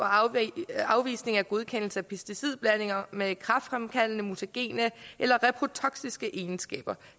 afvisning af godkendelse af pesticidblandinger med kræftfremkaldende mutagene eller reprotoksiske egenskaber